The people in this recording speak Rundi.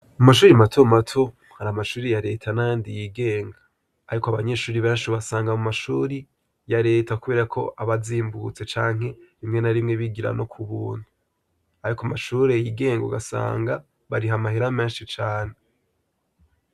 Mu mashuri mato mato, hari amashuri ya leta n'ayandi yigenga, ariko abanyeshuri benshi ubasanga mu mashuri ya leta kubera ko aba azimbutse, canke rimwe na rimwe bigira no ku buntu. Ariko amashuri yigenga ugasanga bariha amahera menshi cane.